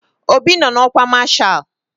Obi nọ n'ọkwa masha